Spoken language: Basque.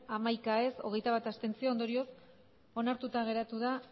hamaika ez hogeita bat abstentzio ondorioz onartuta geratu da